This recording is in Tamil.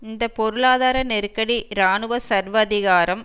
இந்த பொருளாதார நெருக்கடி இராணுவ சர்வாதிகாரம்